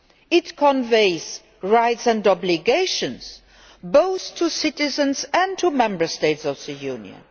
It conveys rights and obligations both to citizens and to Member States of the Union.